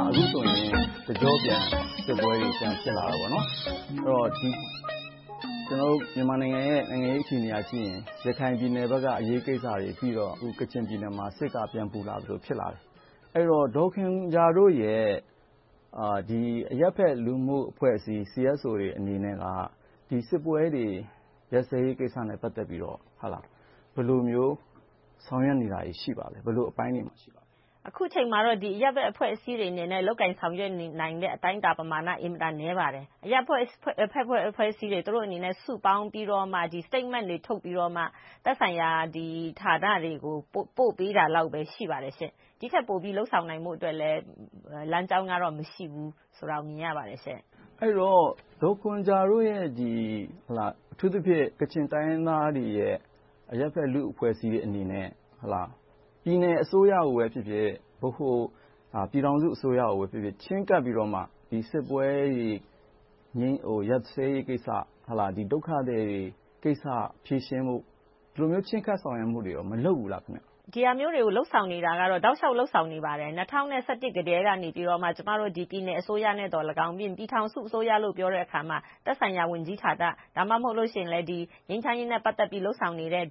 အခုဆိုရင် တကျော့ပြန် စစ်ပွဲတွေ ပြန်ဖြစ်လာခဲ့တယ်။ အဲဒီတော့ ကျနော်တို့ မြန်မာနိုင်ငံရဲ့ နိုင်ငံရေးအခြေအနေကိုကြည့်ရင် ရခိုင်ပြည်နယ်ဘက်က အရေးကိစ္စတွေပြီးတော့ အခု ကချင်ပြည်နယ်မှာ စစ်က ပြန်ပူလာသလို ဖြစ်လာတယ်။ အဲဒီတော့ ဒေါ်ခွန်ဂျာတို့ရဲ့ အရပ်ဖက်လူမှု့အဖွဲ့အစည်း တွေအနေနဲ့က ဒီစစ်ပွဲတွေ ကယ်ဆယ်ရေးကိစ္စနဲ့ ပတ်သက်ပြီးတော့ ဘယ်လိုမျိုး ဆောင်ရွက်နေတာတွေ ရှိပါလဲ။ ဘယ်လိုမျိုးအပိုင်းတွေ ရှိပါလဲ။ အခုအချိန်မှာတော့ အရပ်ဖက်လူမှု့အဖွဲ့အစည်းတွေအနေနဲ့ လုပ်ကိုင်ဆောင်ရွက်နိုင်တဲ့ အတိုင်းအတာ ပမာဏ အင်မတန်နည်းပါတယ်။ အရပ်ဖက်အဖွဲ့အစည်းတွေက သူတို့အနေနဲ့ စုပေါင်းပြီးတော့ Statement တွေ ထုတ်ပြီးတော့ သက်ဆိုင်ရာဌာနတွေကို ပို့ပေးတာလောက်ပဲ ရှိပါတယ်။ ဒီထက်ပိုပြီး လုပ်ဆောင်နိုင်ဖို့အတွက်လည်း လမ်းကြောင်းကတော့ မရှိဘူးဆိုတာကို မြင်ရပါတယ်။ အဲဒီတော့ ဒေါ်ခွန်ဂျာတို့ရဲ့ အထူးသဖြင့် ကချင်တိုင်းရင်းသားတွေရဲ့ အရပ်ဖက်လူ့အဖွဲ့အစည်းအနေနဲ့ ပြည်နယ်အစိုးရဖြစ်ဖြစ်၊ ဗဟိုပြည်ထောင်စု အစိုးရကိုပဲဖြစ်ဖြစ် ချည်းကပ်ပြီးတော့မှ စစ်ပွဲတွေ ရပ်စဲရေးကိစ္စ - ဒုက္ခသည်တွေကိစ္စ ဖြေရှင်းပေးဖို့ အဲဒီလို ချဉ်းကပ်ဆောင်ရွက်မှုတွေ မလုပ်ဘူးလား။ ဒီဟာမျိုးတွေကို တောက်လျှောက်လုပ်ဆောင်နေပါတယ်။ ၂၀၁၁ ကတည်းက ကျမတို့ ပြည်နယ်အစိုးရနဲ့လည်းကောင်း။ ပြည်ထောင်စုအစိုးရလို့ ပြောတဲ့အခါမှာ သက်ဆိုင်ရာဝန်ကြီးဌာန။ ဒါမှမဟုတ်လို့ရှိရင် ငြိမ်းချမ်းရေးနဲ့ ပတ်သက်ပြီး လုပ်ဆောင်နေတဲ့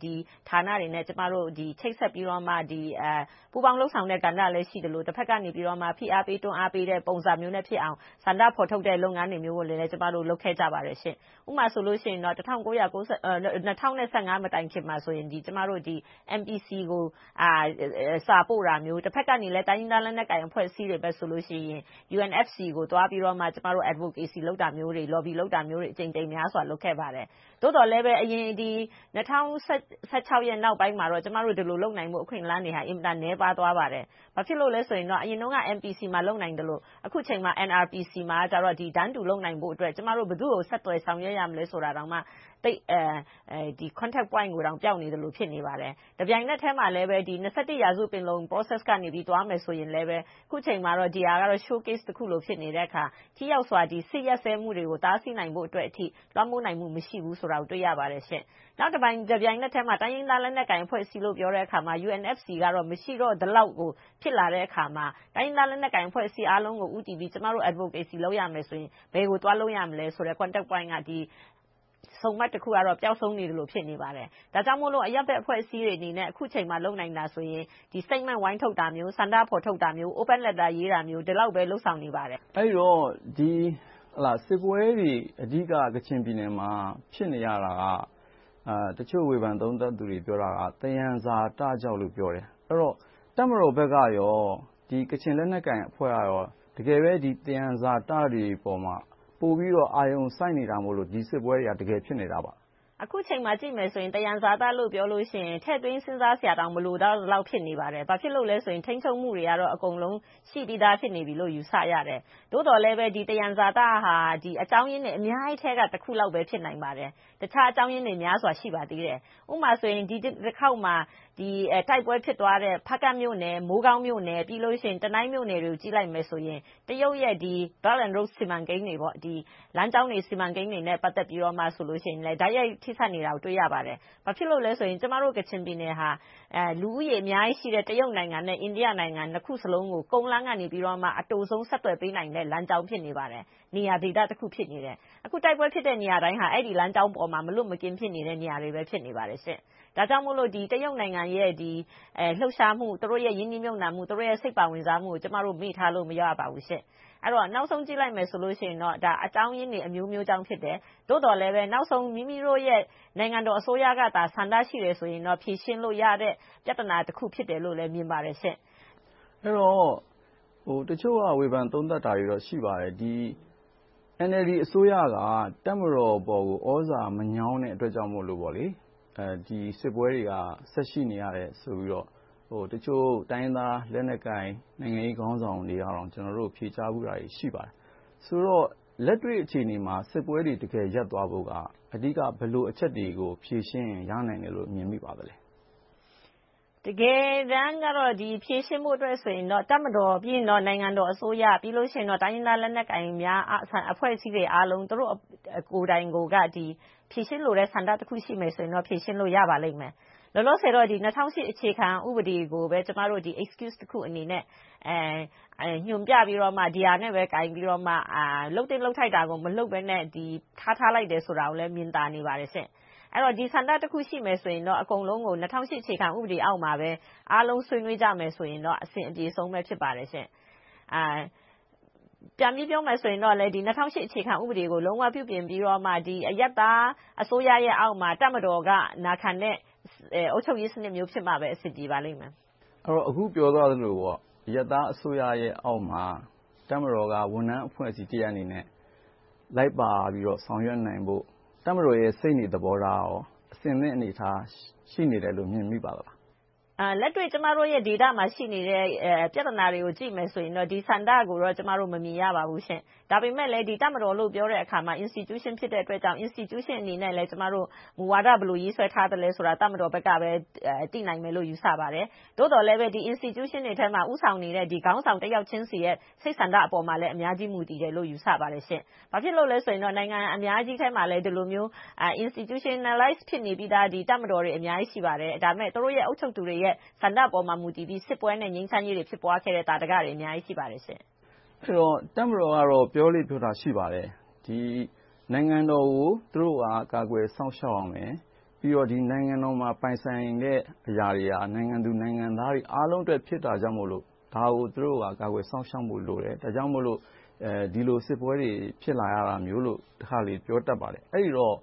ဌာနတွေနဲ့ ချိတ်ဆက်ပြီးတော့မှ ပူးပေါင်းလုပ်ဆောင်တဲ့ ကဏ္ဍလည်း ရှိသလို၊ တဘက်ကနေ ဖိအားပေး၊ တွန်းအားပေးတဲ့ ပုံစံမျိုးနဲ့ဖြစ်အောင် ဆန္ဒဖော်ထုတ်တဲ့ လုပ်ငန်းမျိုးတွေလည်း ကျမတို့ လုပ်ခဲ့ကြပါတယ်။ ဥပမာဆိုလို့ရှိရင် ၂၀၁၅ မတိုင်ခင်မှာ ကျမတို့ MPC ကို စာပို့တာမျိုး။ တဘက်ကနေလဲ တိုင်းရင်းသားလက်နက်ကိုင် အဖွဲ့အစည်းဘက်တွေဆိုရင် UNFC ကို သွားပြီးတော့မှ ကျမတို့ Advocacy, Lobby လုပ်တာမျိုးတွေ အကြိမ်ကြိမ်များစွာ လုပ်ခဲ့ပါတယ်။ သို့သော်လဲ ၂၀၁၆ နောက်ပိုင်းမှာတော့ ကျမတို့ ဒီလိုလုပ်နိုင်ဖို့ အခွင့်အလမ်းတွေက အင်မတန် နည်းပါးသွားပါတယ်။ ဘာဖြစ်လို့လဲဆိုတော့ အရင်တုန်းက MPC မှာ လုပ်နိုင်သလို၊ အခုအချိန်မှာ NRPC မှာ တန်းတူလုပ်နိုင်ဖို့အတွက် ကျမတို့ ဘယ်သူကို ဆက်သွယ်ဆောင်ရွက်ရမလဲ ဆိုတာကိုက Contact point ကိုတောင်မှ ပျောက်နေသလို ဖြစ်နေပါတယ်။ တပြိုင်နက်ထဲမှာလည်း ရာစု ပင်လုံ Process က သွားမယ်ဆိုရင်လဲ အခုအချိန်မှာတော့ ဒီဟာက show piece တခုလို ဖြစ်နေတဲ့အခါ ထိရောက်စွာ စစ်ရပ်စဲမှုတွေကို တားဆီးနိုင်ဖို့အထိ လွှမ်းမိုးနိုင်မှု မရှိဘူးဆိုတာကို တွေ့ရပါတယ်။ တပြိုင်နက်ထဲမှာ တိုင်းရင်းသားလက်နက်ကိုင် အဖွဲ့အစည်းလို့ ပြောတဲ့အခါမှာတော့ UNFC က မရှိတော့ ဒီလောက်ဖြစ်လာတဲ့အခါမှာ တိုင်းရင်းသားလက်နက်ကိုင် အဖွဲ့အစည်းအားလုံးကို ဦးတည်ပြီး ကျမတို့ Advocacy လုပ်ရမယ်ဆိုရင်၊ ဘယ်ကိုသွားလုပ်ရမလဲဆိုတဲ့ Contact Point စုံမက်တခုကတော့ ပျောက်ဆုံးနေသလို ဖြစ်နေပါတယ်။ ဒါကြောင့်မို့ အရပ်ဖက်အဖွဲ့အစည်းတွေအနေနဲ့ အခုအချိန်မှာ လုပ်နိုင်တာဆိုရင် Statement ဝိုင်းထုတ်တာမျိုး၊ ဆန္ဒဖော်ထုတ်တာမျိုး, Open letter ရေးတာမျိုး ဒီလောက်ပဲ လုပ်ဆောင်နေပါတယ်။ အဲဒီတော့ ဒီစစ်ပွဲတွေ အဓိကက ကချင်ပြည်နယ်မှာ ဖြစ်နေရတာက တချို့ဝေဖန်သုံးသပ်သူတွေ ပြောတာက သယံဇာတကြောင့်လို့ ပြောတယ်။ တပ်မတော်ဘက်နဲ့ ကချင်လက်နက်ကိုင်အဖွဲ့တို့က တကယ်ပဲ သယံဇာတတွေပေါ်မှာ ပိုပြီးတော့ အာရုံစိုက်နေလို့ ဒီစစ်ပွဲတွေက တကယ်ဖြစ်နေတာလား။ အခုအချိန်မှာကြည့်မယ်ဆိုရင် သယံဇာတလို့ ပြောလို့ရှိရင် ထည့်သွင်းစဉ်းစားစရာတောင် မလိုတော့လောက် ဖြစ်နေပါတယ်။ ဘာဖြစ်လို့လဲဆိုရင် ထိန်းချုပ်မှုတွေက အကုန်လုံးရှိပြီးသား ဖြစ်နေပြီလို့ ယူဆရတယ်။ သို့သော်လဲ ဒီသယံဇာတဟာ အကြောင်းရင်းတွေ အများကြီးထဲက တခုလောက်ပဲ ဖြစ်နိုင်ပါတယ်။ တခြားအကြောင်းရင်းတွေ များစွာရှိပါသေးတယ်။ ဥပမာ ဒီတခေါက်မှာ တိုက်ပွဲဖြစ်သွားတဲ့ ဖားကန့်မြို့နယ်၊ မိုးကောင်းမြို့နယ်၊ တနိုင်းမြို့တွေကို ကြည့်လိုက်မယ်ဆိုရင် တရုတ်ရဲ့ One Belt One Road စီမံကိန်းတွေ လမ်းကြောင်းစီမံကိန်းတွေနဲ့ ပတ်သက်ပြီးတော့ တိုက်ရိုက်ထိဆက်နေတာကို တွေ့ရပါတယ်။ ဘာဖြစ်လို့လဲဆိုတော့ ကျမတို့ ကချင်ပြည်နယ်ဟာ လူဦးရေအများကြီးရှိတဲ့ တရုတ်နိုင်ငံနဲ့ အိန္ဒိယနိုင်ငံ နှစ်ခုစလုံးကို ကုန်းလမ်းကနေ အတိုဆုံးဆက်သွယ်ပေးနိုင်တဲ့ လမ်းကြောင်း၊ နေရာဒေသတခု ဖြစ်နေပါတယ်။ အခုတိုက်ပွဲဖြစ်တဲ့နေရာတိုင်းဟာ အဲဒီလမ်းကြောင်းပေါ်မှာ မလွတ်မကင်း ဖြစ်နေတဲ့ နေရာတွေ ဖြစ်နေတယ်။ ဒါကြောင့်မို့ တရုတ်နိုင်ငံရဲ့ လှုပ်ရှားမှု၊ သူတို့ရဲ့ ရင်းနှီးမြုပ်နံှမှု၊ စိတ်ပါဝင်စားမှုကို ကျမတို့ မေ့ထားလို့ မရပါဘူး။ အဲဒီတော့ နောက်ဆုံးကြည့်လိုက်မယ်ဆိုရင် ဒါက အကြောင်းရင်းတွေအမျိုးမျိုးကြောင့် ဖြစ်တယ်။ သို့သော်လဲပဲ နောက်ဆုံး မိမိတို့ရဲ့ နိုင်ငံတော်အစိုးရကသာ ဆန္ဒရှိတယ်ဆိုရင်တော့ ဖြေရှင်းလို့ရတဲ့ ပြဿနာတခု ဖြစ်တယ်လို့လည်း မြင်ပါတယ်။ အဲဒီတော့ တချို့က ဝေဖန်သုံးသပ်တာတွေ ရှိပါတယ်။ NLD အစိုးရက တပ်မတော်ပေါ်ကို သြဇာမညောင်းတဲ့အတွက်ကြောင့်မို့ ဒီစစ်ပွဲတွေက ဆက်ရှိနေရတယ်လို့ တချို့တိုင်းရင်းသား လက်နက်ကိုင် နိုင်ငံရေးခေါင်းဆောင်တွေက ကျနော်တို့ကို ဖြေကြားဖူးတာတွေ ရှိပါတယ်။ ဆိုတော့ လက်တွေ့အခြေအနေမှာ စစ်ပွဲတွေ တကယ်ရပ်သွားဖို့က အဓိက ဘယ်လိုအချက်တွေကို ဖြေရှင်းမယ်ဆိုရင် ရနိုင်မယ်လို့ မြင်မိပါသလဲ။ တကယ်တမ်းတော့ ဖြေရှင်းဖို့ဆိုရင်တော့ တပ်မတော်၊ ပြီးရင် နိုင်ငံတော်အစိုးရ၊ ပြီးနောက် တိုင်းရင်းသားလက်နက်ကိုင် အဖွဲ့အစည်းတွေအားလုံး သူတို့ကိုယ်တိုင်ကိုယ်က ဖြေရှင်းလိုတဲ့ ဆန္ဒတခုရှိရင်တော့ ဖြေရှင်းလို့ ရပါလိမ့်မယ်။ လောလောဆယ်တော့ ၂၀၀၈ အခြေခံဥပဒေကို ကျမတို့ Excuse တခုအနေနဲ့ ညွှန်ပြပြီးတော့ ဒီဟာနဲ့ပဲ ကိုင်ပြီးတော့မှ လုပ်သင့်လုပ်ထိုက်တာကို မလုပ်ဘဲနဲ့ ထားထားလိုက်တယ်ဆိုတာကိုလည်း မြင်သာပါတယ်။ အဲဒီတော့ ဒီဆန္ဒတခုရှိမယ်ဆိုရင်တော့ အကုန်လုံးကို ၂၀၀၈ အခြေခံဥပဒေအောက်မှာပဲ အားလုံးဆွေးနွေးကြမယ်ဆိုရင်တော့ အဆင်ပြေဆုံးပဲ ဖြစ်ပါတယ်။ ပြန်ပြီးပြောမယ်ဆိုရင်လည်း ၂၀၀၈ အခြေခံဥပဒေကို လုံးဝပြုပြင်ပြီးတော့မှ အရပ်သားအစိုးရအောက်မှာ တပ်မတော်က နာခံတဲ့ အုပ်ချုပ်ရေးစနစ် ဖြစ်မှပဲ အဆင်ပြေပါလိမ့်မယ်။ အခုပြောသွားသလို အရပ်သားအစိုးရအောက်မှာ တပ်မတော်က ဝန်ထမ်းအဖွဲ့အစည်းတရပ်အနေနဲ့ လိုက်ပါပြီးတော့ ဆောင်ရွက်နိုင်ဖို့ တပ်မတော်ရဲ့ စိတ်နေသဘောထားက အဆင်သင့်အနေအထား ရှိနေတယ်လို့ မြင်မိပါသလား။ လက်တွေ့ ကျမတို့ရဲ့ဒေသမှာ ရှိနေတဲ့ ပြဿနာတွေကိုကြည့်မယ်ဆိုရင် ဒီဆန္ဒကိုတော့ ကျမတို့ မမြင်ရပါဘူး။ ဒါပေမဲ့လဲ တပ်မတော်လို့ ပြောတဲ့အခါမှာ Institution ဖြစ်တဲ့အတွက်ကြောင့် ဒီ Institution အနေနဲ့ ဘယ်လိုမူဝါဒ ရေးဆွဲထားသလဲဆိုတာကို တပ်မတော်ဘက်ကပဲ သိနိုင်မယ်လို့ ယူဆပါတယ်။ သို့သော်လဲပဲ ဒီ Institution ထဲမှာ ဦးဆောင်နေတဲ့ ခေါင်းဆောင်တယောက်ချင်းဆီရဲ့ စိတ်ဆန္ဒပေါ်မှာလည်း အများကြီးမူတည်တယ်လို့ ယူဆပါတယ်။ ဘာဖြစ်လို့လဲဆိုရင် နိုင်ငံအများကြီးထဲမှာလည်း ဒီလိုမျိုး Institutionalize ဖြစ်နေပြီသား တပ်မတော်တွေ အများကြီးရှိပါတယ်။ ဒါပေမဲ့ သူတို့ရဲ့ အုပ်ချုပ်သူတွေရဲ့ ဆန္ဒပေါ်မှာ မူတည်ပြီး စစ်ပွဲနဲ့ ငြိမ်းချမ်းရေးတွေ ဖြစ်ခဲ့တဲ့ သာဓကတွေ အများကြီးရှိပါတယ်။ အဲဒီတော့ တပ်မတော်က ပြောလေ့ပြောထ ရှိပါတယ်။ နိုင်ငံတော်ကို သူတို့က ကာကွယ်စောင့်ရှောက်ရမယ်။ ပြီးတော့ နိုင်ငံတော်မှာ ပိုင်ဆိုင်တဲ့အရာတွေဟာ နိုင်ငံသူနိုင်ငံသားတွေ အားလုံးအတွက် ဖြစ်တာကြောင့်မို့ ဒါကို သူတို့က ကာကွယ်စောင့်ရှောက်ဖို့ လိုတယ်။ ဒါကြောင့်မို့ ဒီလိုစစ်ပွဲတွေ ဖြစ်လာတာမျိုးလို တခါတလေ ပြောတတ်ပါတယ်။ အဲဒီတော့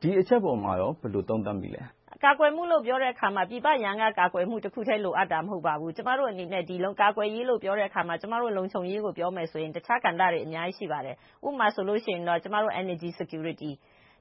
ဒီအချက်ပေါ် ဘယ်လိုသုံးသပ်မိလဲ။ ကာကွယ်မှုလို့ ပြောတဲ့အခါမှာ ပြည်ပရန် ကာကွယ်မှုတခုတည်း လိုအပ်တာ မဟုတ်ပါဘူး။ ကျမတို့အနေနဲ့ ဒီလိုကာကွယ်ရေးလို့ ပြောတဲ့အခါမှာ ကျမတို့ လုံခြုံရေးကို ပြောမယ်ဆိုရင် တခြားကဏ္ဍတွေ အများကြီး ရှိပါတယ်။ ဥပမာမှာဆိုရင် ကျမတို့ Energy Security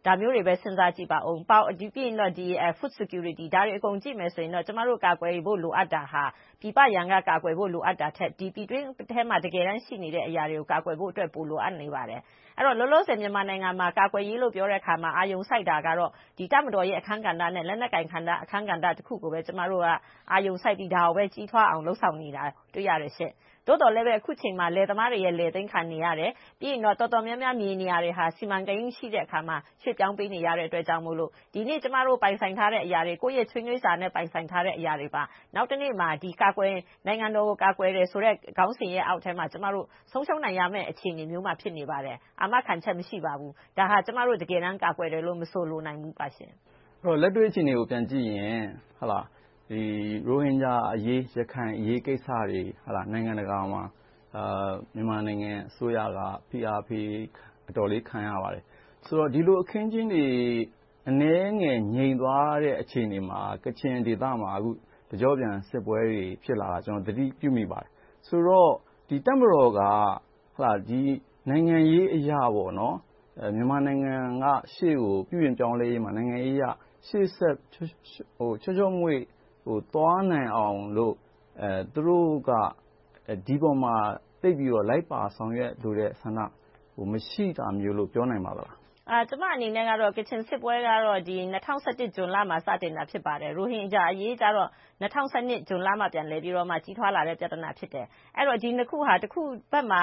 ဒါမျိုးတွေပဲ စဉ်းစားကြည့်ပါအုံး။ ပြီးရင် Food Security ဒါတွေအကုန်ကြည့်မယ်ဆိုရင်တော့ ကျမတို့ ကာကွယ်ဖို့ လိုအပ်တာဟာ ပြည်ပရန်က ကာကွယ်ဖို့ လိုအပ်တာထက် ပြည်တွင်းထဲမှာ တကယ်တမ်းရှိနေတဲ့အရာတွေကို ကာကွယ်ဖို့ တကယ်လိုအပ်နေပါတယ်။ အဲဒီတော့ လောလောဆယ် မြန်မာနိုင်ငံမှာ ကာကွယ်ရေးလို့ ပြောတဲ့အခါမှာ အာရုံစိုက်တာကတော့ တပ်မတော်ရဲ့ အခန်းကဏ္ဍနဲ့ လက်နက်ကိုင်အခန်းကဏ္ဍ တခုကိုပဲ ကျမတို့က အာရုံစိုက်ပြီး ဒါကိုပဲ ကြီးထွားအောင် လုပ်ဆောင်နေတာကို တွေ့ရတယ်။ သို့သော်လဲ အခုအချိန်မှာ လယ်သမားတွေ လယ်သိမ်းခံနေရတယ်။ ပြီးတော့ တော်တော်များများ မြေနေရာတွေက စီမံကိန်း မရှိတဲ့အခါမှာ ရွှေ့ပြောင်းပေးနေရတာမို့ ဒီနေ့ ကျမတို့ ပိုင်ဆိုင်ထားတဲ့အရာတွေ ကိုယ့်ရဲ့ချွေးနည်းစားနဲ့ ပိုင်ဆိုင်ထားတဲ့ အရာတွေက နောက်တနေ့မှာ နိုင်ငံတော်ကို ကာကွယ်တယ်ဆိုတဲ့ ခေါင်းစဉ်အောက်ထဲမှာ ဆုံးရှုံးရမယ့်အခြေအနေမှာ ဖြစ်နေပါတယ်။ အာမခံချက် မရှိပါဘူး။ ဒါကို ကာကွယ်တယ်လို့ မဆိုလိုနိုင်ပါဘူး။ လက်တွေ့အခြေအနေကို ပြန်ကြည့်ရင် ရိုဟင်ဂျာအရေး၊ ရခိုင်အရေး ကိစ္စတွေ နိုင်ငံတကာမှာ မြန်မာနိုင်ငံအစိုးရက ဖိအားပေး အတော်လေးခံရပါတယ်။ ဆိုတော့ ဒီလိုအခင်းအကျင်းတွေ အနည်းငယ် ငြိမ်သွားတဲ့အခြေအနေမှာ ကချင်ဒေသမှာ တကျော့ပြန် စစ်ပွဲတွေ ဖြစ်လာတာကို သတိပြုမိပါတယ်။ ဆိုတော့ တပ်မတော်က နိုင်ငံရေးအရ မြန်မာနိုင်ငံက ရှေ့ကို ပြုပြင်ပြောင်းလဲရေးမှာ နိုင်ငံရေးအရ ချောချောမွေ့မွေ့ သွားနိုင်အောင်လို့ သူတို့က ဒီပေါ်မှာ သိပ်ပြီးတော့ လိုက်ပါဆောင်ရွက်လိုတဲ့ ဆန္ဒ မရှိတာမျိုးလို့ ပြောနိုင်ပါလား။ ကျမအနေနဲ့ကတော့ ကချင်စစ်ပွဲက ၂၀၁၁ ဇွန်လမှာ စတင်တာ ဖြစ်ပါတယ်။ ရိုဟင်ဂျာအရေးကြတော့ ၂၀၁၂ ဇွန်လမှာ ပြန်လည်ပြီး ကြီးထွားလာတဲ့ ပြဿနာ ဖြစ်တယ်။ အဲဒီတော့ ဒီနှစ်ခုက တခုဘက်မှာ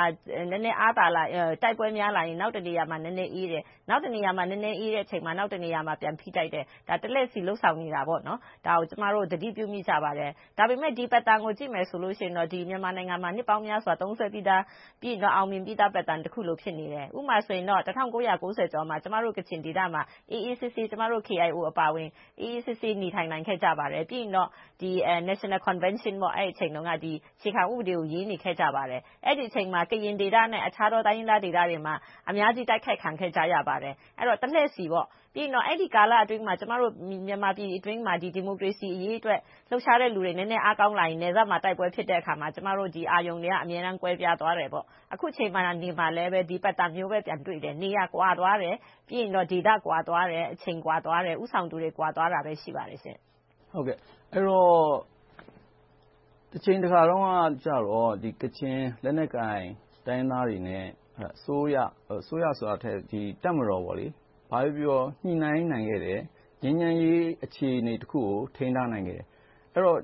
နည်းနည်းအားသာ၊ တိုက်ပွဲများလာရင် နောက်တနေရာမှာ နည်းနည်းအေးတယ်။ နောက်တနေရာမှာ နည်းနည်းအေးတဲ့အချိန်မှာ နောက်တနေရာမှာ ပြန်ဖိတိုက်တယ်။ တလှည့်ဆီ လုပ်ဆောင်နေတာ။ ဒါကို ကျမတို့ သတိပြုမိကြပါတယ်။ ဒါပေမဲ့ ဒီ Pattern ကို ကြည့်မယ်ဆိုရင် မြန်မာနိုင်ငံမှာ နှစ်ပေါင်းများစွာ သုံးစွဲပြီးသား၊ အောင်မြင်တဲ့ Pattern တခုလို ဖြစ်နေတယ်။ ဥပမာဆိုရင် ၁၉၉၀ ကျော်မှာ ကျမတို့ ကချင်ဒေသမှာ အေးအေးဆေးဆေး ကျမတို့ KIO အပါအဝင် အေးအေးဆေးဆေး နေထိုင်နိုင်ခဲ့တယ်။ ပြီးရင်တော့ National Convention အဲဒီအချိန်တုန်းက အခြေခံဥပဒေကို ရေးနေခဲ့ကြပါတယ်။ အဲဒီအချိန်မှာ ကရင်ဒေသနဲ့ တခြားတိုင်းရင်းသားဒေသတွေမှာ အများကြီးတိုက်ခိုက်ခံခဲ့ရပါတယ်။ တလှည့်ဆီပေါ့။ ပြီးရင်တော့ အဲဒီကာလအတွင်းမှာ မြန်မာပြည်အတွင်းမှာ ဒီမိုကရေစီအရေးအတွက် လှုပ်ရှားတဲ့လူတွေ နည်းနည်းအားကောင်းလာရင် နယ်စပ်မှာ တိုက်ပွဲဖြစ်တဲ့အခါမှာ ကျမတို့ အာရုံတွေက အမြဲတမ်း ကွဲပြားသွားတယ်။ အခုအချိန်မှာ ဒီ Pattern မျိုးပဲ ပြန်တွေ့တယ်။ နေရာကွာသွားတယ်။ ဒေသကွာသွားတယ်။ အချိန်ကွာသွားတယ်။ ဦးဆောင်သူတွေ ကွာသွားတာပဲ ရှိပါတယ်။ အဲဒီတော့ တချိန်တခါတုန်းကတော့ ကချင်လက်နက်ကိုင် တိုင်းရင်းသားတွေနဲ့ အစိုးရဆိုတာထက် တပ်မတော်အစိုးရတို့ ညှိနှိုင်းနိုင်ခဲ့တယ်။ ငြိမ်းချမ်းရေး အခြေအနေတခုကို ထိန်းထားနိုင်ခဲ့တယ်။ အဲဒီတော့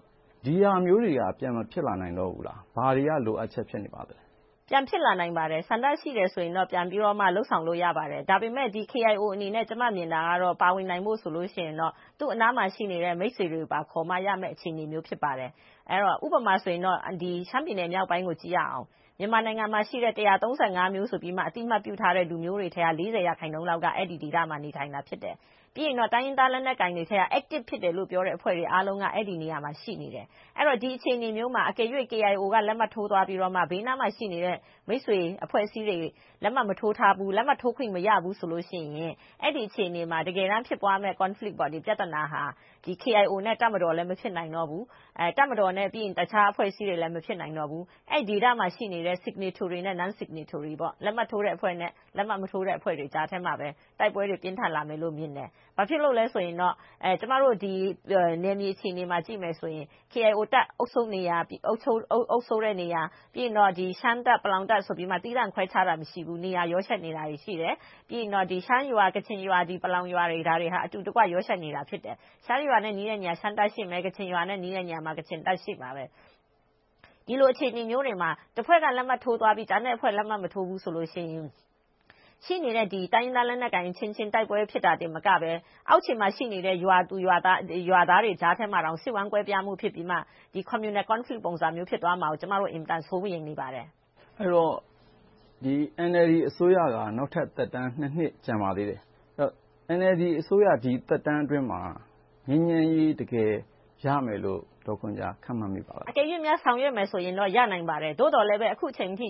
ဒီဟာမျိုးတွေက ပြန်မဖြစ်လာနိုင်တော့ဘူးလား။ ဘာတွေက လိုအပ်ချက်တွေ ဖြစ်နေပါလဲ။ ပြန်ဖြစ်လာနိုင်ပါတယ်။ ဆန္ဒရှိရင်တော့ ပြန်ပြီးတော့ လုပ်ဆောင်လို့ ရပါတယ်။ ဒါပေမဲ့ KIO အနေနဲ့ ကျမ မြင်တာကတော့ ပါဝင်နိုင်ဖို့ဆိုရင်တော့ သူ့အနားမှာရှိတဲ့ မိတ်ဆွေတွေကိုပါ ခေါ်မှရမယ့် အခြေအနေ ဖြစ်ပါတယ်။ ဥပမာဆိုရင် ရှမ်းပြည်နယ် မြောက်ပိုင်းကိုကြည့်ရအောင် မြန်မာနိုင်ငံမှာ တိုင်းရင်းသား ဆိုပြီးမှ အသိအမှတ်ပြုထားတဲ့ လူမျိုးတွေထဲက ရာခိုင်နှုန်းက အဲဒီဒေသမှာ နေထိုင်နေတာ ဖြစ်တယ်။ ပြီးရင်တော့ တိုင်းရင်းသားလက်နက်ကိုင်တွေထဲမှာ Active ဖြစ်တယ်လို့ပြောတဲ့ အဖွဲ့တွေအားလုံးက အဲဒီနေရာမှာ ရှိနေတယ်။ ဒီလိုအခြေအနေမျိုးမှာ KIO က လက်မှတ်ထိုးသွားပြီး၊ ဘေးနားမှာရှိနေတဲ့ မိတ်ဆွေ၊ အဖွဲ့အစည်းတွေ၊ လက်မှတ်မထိုးထားဘူး။ လက်မှတ်ထိုးခွင့် မရဘူးဆိုလို့ရှိရင် အဲဒီအခြေအနေနမှာ တကယ်တမ်း ဖြစ်ပွားမယ့် Conflict ဟာ KIO နဲ့ တပ်မတော် မဖြစ်နိုင်တော့ဘူး။ တပ်မတော်နဲ့ တခြားအဖွဲ့အစည်းတွေလည်း မဖြစ်နိုင်တော့ဘူး။ အဲဒီဒေသမှာရှိတဲ့ လက်မှတ်ထိုးအဖွဲ့နဲ့ လက်မှတ်မထိုးတဲ့ အဖွဲ့တွေကြားထဲမှာ တိုက်ပွဲတွေ ပြင်းထန်လာမယ်လို့ မြင်တယ်။ ဘာဖြစ်လို့လဲဆိုရင်တော့ ကျမတို့ နယ်မြေအခြေအနေကို ကြည့်မယ်ဆိုရင် KIO တပ် အုပ်ချုပ်တဲ့နေရာ၊ ပြီးရင် ရှမ်းတပ်၊ ပလောင်တပ်ဆိုပြီး နေရာခွဲခြားထားတာ မရှိဘူး။ နေရာတွေက ရောယှက်နေတာတွေ ရှိတယ်။ ပြီးရင် ရှမ်းရွာ၊ ကချင်ရွာ၊ ပလောင်ရွာတွေက အတူရောယှက်နေကြတာ ဖြစ်တယ်။ ရှမ်းရွာနဲ့ နီးတဲ့နေရာမှာ ရှမ်းတပ်ရှိမယ်။ ကချင်ရွာနဲ့ နီးတဲ့နေရာမှာ ကချင်တပ်ရှိမယ်။ ဒီလိုအခြေအနေမျိုးတွေမှာ တဖွဲ့က လက်မှတ်ထိုးသွားပြီး ကျန်တဲ့အဖွဲ့တွေ လက်မှတ်မထိုးဘူးဆိုရင် ရှိနေတဲ့ တိုင်းရင်းသားလက်နက်ကိုင်အချင်းချင်း တိုက်ပွဲဖြစ်တာတင် မကဘဲ။ အောက်ခြေမှာရှိနေတဲ့ ရွာသူရွာသားတွေကြားထဲမှာ စိတ်ဝမ်းကွဲပြားမှုတွေ ဖြစ်ပြီးမှ Communal Conflict ပုံစံမျိုး ဖြစ်သွားမှာကို ကျမတို့ အင်မတန် စိုးရိမ်နေပါတယ်။ အဲဒီတော့ NLD အစိုးရက နောက်ထပ် သက်တမ်း နှစ် ကျန်ပါသေးတယ်။ NLD အစိုးရရဲ့ ဒီသက်တမ်းအတွင်းမှာ ငြိမ်းချမ်းရေး တကယ် ရမယ်လို့ ဒေါ်ခွန်ဂျာ ခန့်မှန်းမိပါလား။ အကယ်လို့များ ဆောင်ရွက်မယ်ဆိုရင်တော့ ရနိုင်ပါတယ်။ သို့သော်လဲပဲ အခုအချိန်အထိ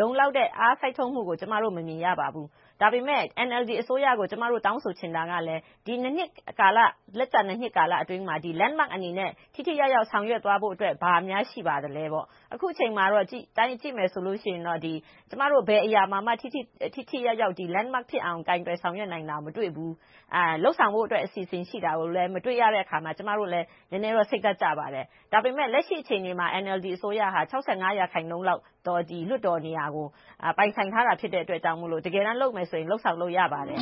လုံလောက်တဲ့ အားစိုက်ထုတ်မှုကို မမြင်ရသေးပါဘူး။ ဒါပေမဲ့ NLD အစိုးရကို ကျမတို့ တောင်းဆိုချင်တာကလည်း ဒီ နှစ်ကာလအတွင်းမှာ Landmark အနေနဲ့ ထိထိရောက်ရောက် ဆောင်ရွက်သွားဖို့ ဘာတွေများ ရှိပါသလဲပေါ့။ အခုအချိန်အတိုင်း ကြည့်မယ်ဆိုရင်တော့ ဘယ်အရာကိုမှ ထိထိရောက်ရောက် Landmark ဖြစ်အောင် ကိုင်တွယ်ဖြေရှင်းနိုင်တာကို မတွေ့ဘူး။ လုပ်ဆောင်ဖို့ အစီအစဉ်ရှိတာကိုလည်း မတွေ့ရတဲ့အခါမှာ ကျမတို့လည်း နည်းနည်းတော့ စိတ်ဓါတ်ကျပါတယ်။ ဒါပေမဲ့ လက်ရှိအခြေအနေမှာ NLD အစိုးရဟာ ရာခိုင်နှုန်းလောက် လွှတ်တော်နေရာကို ပိုင်ဆိုင်ထားတာ ဖြစ်တဲ့အတွက်ကြောင့်မို့ တကယ်တမ်း လုပ်မယ်ဆိုရင် လုပ်ဆောင်လို့ ရပါတယ်